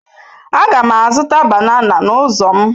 Aga m azụta banana n'ụzọ m.